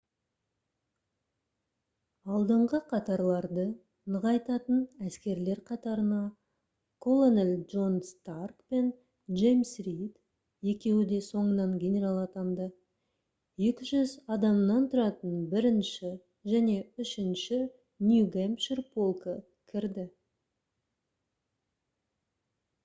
алдыңғы қатарларды нығайтатын әскерлер қатарына колонель джон старк пен джеймс рид екеуі де соңынан генерал атанды 200 адамнан тұратын 1-ші және 3-ші нью-гэмпшир полкі кірді